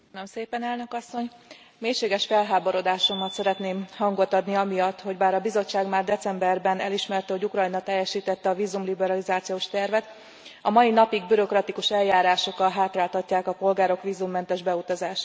Elnök Asszony, mélységes felháborodásomnak szeretnék hangot adni amiatt, hogy bár a Bizottság már decemberben elismerte, hogy Ukrajna teljesítette a vízumliberalizációs tervet, a mai napig bürokratikus eljárásokkal hátráltatják a polgárok vízummentes beutazását.